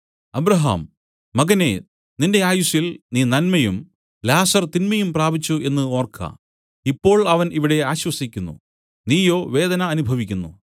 Abraham മകനേ നിന്റെ ആയുസ്സിൽ നീ നന്മയും ലാസർ തിന്മയും പ്രാപിച്ചു എന്നു ഓർക്ക ഇപ്പോൾ അവൻ ഇവിടെ ആശ്വസിക്കുന്നു നീയോ വേദന അനുഭവിക്കുന്നു